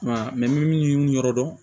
I m'a ye minnu yɔrɔ dɔn